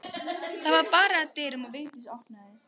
Það var barið að dyrum og Vigdís opnaði.